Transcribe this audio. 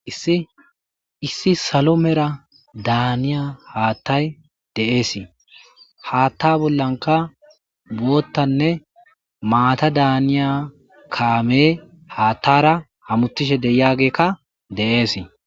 issi issi salo mera daaniya haattay de7eesii haatta bollanka goottanne maata daaniya kaame haattara hamuttishe deyagekka de7eesii